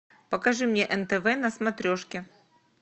покажи мне нтв на смотрешке